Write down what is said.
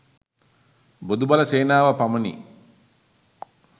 බොදු බල සේනාව පමණි.